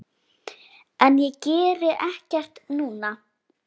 En ég geri ekkert núna.